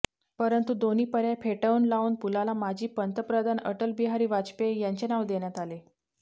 परंतु दोन्ही पर्याय फेटाळून लावून पूलाला माजी पंतप्रधान अटलबिहारी वाजपेयी यांचे नाव देण्यात आले